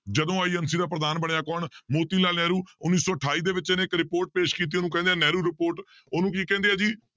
ਜਦੋਂ INC ਦਾ ਪ੍ਰਧਾਨ ਬਣਿਆ ਕੌਣ ਮੋਤੀ ਲਾਲ ਨਹਿਰੂ, ਉੱਨੀ ਸੌ ਅਠਾਈ ਦੇ ਵਿੱਚ ਇਹਨੇ ਇੱਕ report ਪੇਸ ਕੀਤੀ ਉਹਨੂੰ ਕਹਿੰਦੇ ਹੈ ਨਹਿਰੂ report ਉਹਨੂੰ ਕੀ ਕਹਿੰਦੇ ਆ ਜੀ